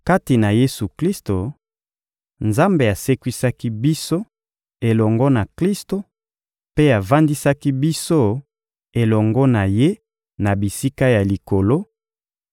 Kati na Yesu-Klisto, Nzambe asekwisaki biso elongo na Klisto mpe avandisaki biso elongo na Ye na bisika ya Likolo